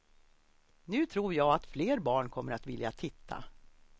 Nu tror jag att fler barn kommer att vilja titta.